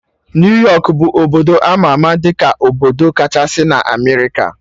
New York bụ obodo ama ama dị ka obodo kachasị na Amerịka